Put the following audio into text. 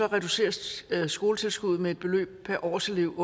reduceres skoletilskuddet med et beløb per årselev